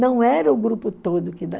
Não era o grupo todo que